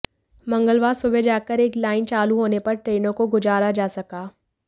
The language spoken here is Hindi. मंगलवार सुबह जाकर एक लाइन चालू होने पर ट्रेनों को गुजारा जा सका